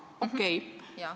Okei.